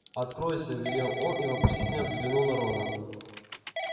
откройся велел он и вопросительно взглянул на рона